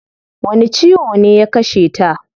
Wani ciwo ne ya kasheta?